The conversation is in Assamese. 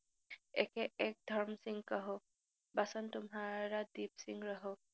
একে এক ধৰ্মসিং কহো, বচন তোমহাৰা দিপসিং ৰহো।